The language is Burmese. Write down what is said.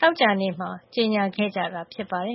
သောကြာနေ့မှာ ကြေညာခဲ့ကြတာ ဖြစ်ပါတယ်။